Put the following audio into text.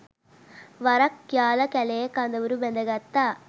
වරක් යාල කැලයේ කඳවුරු බැද ගත්තා.